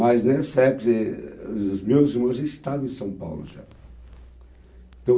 Mas nessa época, quer dizer, os meus irmãos já estavam em São Paulo já.